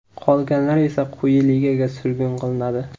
Qolganlar esa quyi ligaga surgun qilinadi.